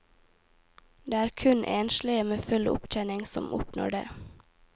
Det er kun enslige med full opptjening som oppnår det.